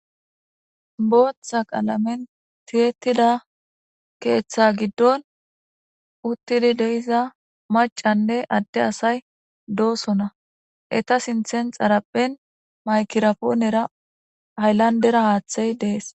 booththa qalamen tiyettida keeththa giddon uttidi deiza macanne adde asay doosona eta sinthen xarapphen maykirapoonera hayllandera haaththey dees